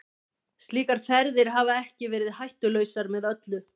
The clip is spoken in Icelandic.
Slíkar ferðir hafa ekki verið hættulausar með öllu.